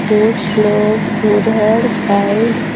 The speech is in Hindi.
कुछ लोग उधर साइड --